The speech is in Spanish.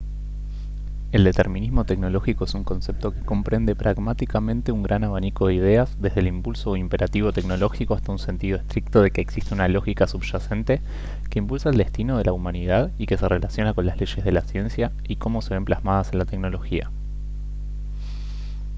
el determinismo tecnológico es un concepto que comprende pragmáticamente un gran abanico de ideas desde el impulso o imperativo tecnológico hasta un sentido estricto de que existe una lógica subyacente que impulsa el destino de la humanidad y que se relaciona con las leyes de la ciencia y cómo se ven plasmadas en la tecnología